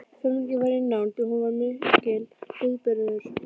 Fermingin var í nánd og hún var mikill viðburður.